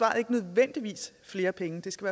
er ikke nødvendigvis flere penge det skal